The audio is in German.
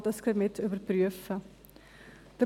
So kann dies gleich mit überprüft werden.